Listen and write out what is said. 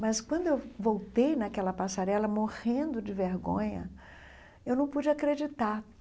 Mas quando eu voltei naquela passarela morrendo de vergonha, eu não pude acreditar.